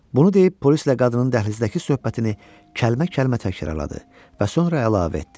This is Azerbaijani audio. Bunu deyib, polislə qadının dəhlizdəki söhbətini kəlmə-kəlmə təkrarladı və sonra əlavə etdi: